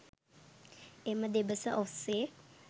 එම දෙබස ඔස්සේ